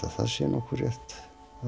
það sé nokkuð rétt